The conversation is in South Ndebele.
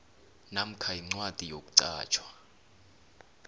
namkha incwadi yokuqatjhwa